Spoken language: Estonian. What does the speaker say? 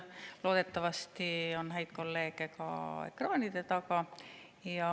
Loodetavasti on häid kolleege ka ekraanide taga.